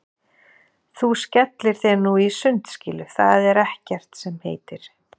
Þú skellir þér nú í sundskýlu, það er ekkert sem heitir!